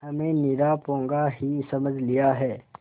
हमें निरा पोंगा ही समझ लिया है